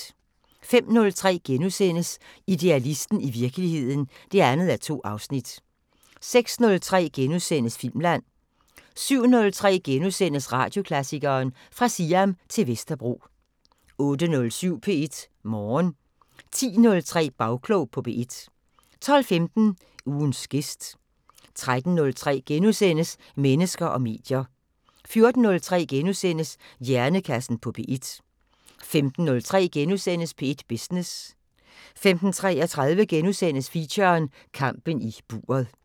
05:03: Idealisten – i virkeligheden (2:2)* 06:03: Filmland * 07:03: Radioklassikeren: Fra Siam til Vesterbro * 08:07: P1 Morgen 10:03: Bagklog på P1 12:15: Ugens gæst 13:03: Mennesker og medier * 14:03: Hjernekassen på P1 * 15:03: P1 Business * 15:33: Feature: Kampen i buret *